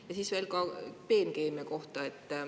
Ja siis veel peenkeemia kohta.